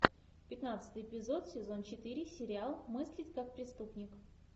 пятнадцатый эпизод сезон четыре сериал мыслить как преступник